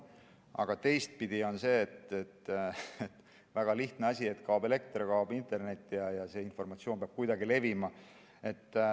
Aga teistpidi: see väga lihtne asi, et kui kaob elekter, siis kaob internet, aga informatsioon peab kuidagi levima.